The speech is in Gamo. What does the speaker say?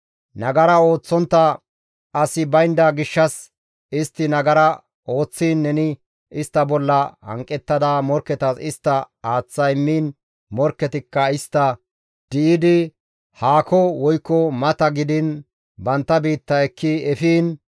«Nagara ooththontta asi baynda gishshas istti nagara ooththiin neni istta bolla hanqettada morkketas istta aaththa immiin morkketikka istta di7idi haako woykko mata gidiin bantta biitta ekki efiin,